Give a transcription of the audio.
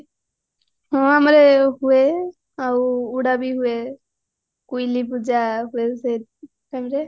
ହଁ ଆମର ଏ ହୁଏ ଆଉ ଉଡା ବି ହୁଏ କୋଇଲି ପୂଜା ହୁଏ ସେ timeରେ